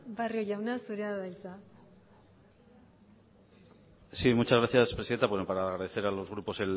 barrio jauna zurea da hitza sí muchas gracias presidenta bueno para agradecer a los grupos